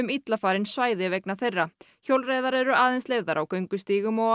illa farin svæði vegna þeirra hjólreiðar eru aðeins leyfðar á göngustígum og